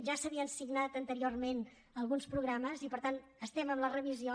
ja s’havien signat anteriorment alguns programes i per tant estem amb la revisió